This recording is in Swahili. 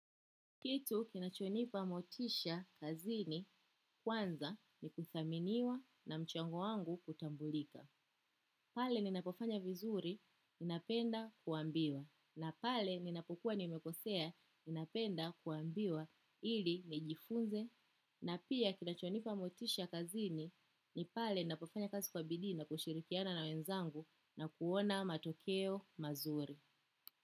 Kitu kinachonipa motisha kazini kwanza ni kuthaminiwa na mchango wangu kutambulika. Pale ninapofanya vizuri, ninapenda kuambiwa. Na pale ninapokuwa nimekosea, ninapenda kuambiwa ili nijifunze. Na pia kinachonipa motisha kazini, ni pale ninapofanya kazi kwa bidii na kushirikiana na wenzangu na kuona matokeo mazuri.